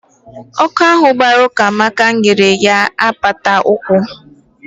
Ọkụ ahụ gbara Ukamaka nyere ọnyá na apata ụkwụ.